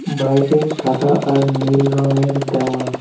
বাইরে সাদা আর নীল রঙের দেওয়াল।